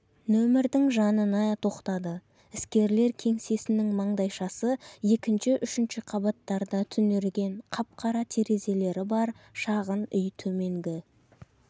нөмірдің жанына тоқтады іскерлер кеңсесінің маңдайшасы екінші-үшінші қабаттарда түнерген қап-қара терезелері бар шағын үй төменгі